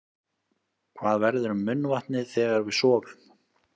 Hvað verður um munnvatnið þegar við sofum?